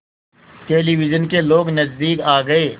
television के लोग नज़दीक आ गए